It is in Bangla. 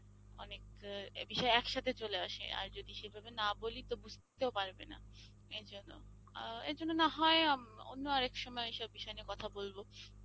অনেক এ বিষয়ে একসাথে চলে আসে আর যদি সেভাবে না বলি তো বুঝতেও পারবে না এই জন্য, আ এই জন্য না হয় অন্য আরেক সময় এসব বিষয় নিয়ে কথা বলবো।